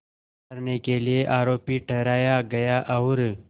करने के लिए आरोपी ठहराया गया और